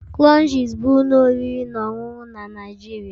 Crunches bụ ụlọ oriri na ọṅụṅụ na Nigeria